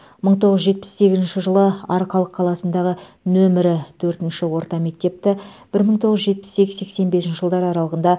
мың тоғыз жүз жетпіс сегізінші жылы арқалық қаласындағы нөмірі төртінші орта мектепті бір мың тоғыз жүз жетпіс сегіз сексен бесінші жылдар арлығында